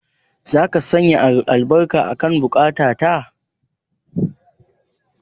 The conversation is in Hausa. Zaka sanya albarka akan buƙata ta.